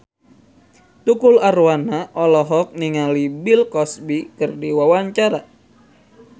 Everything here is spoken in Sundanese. Tukul Arwana olohok ningali Bill Cosby keur diwawancara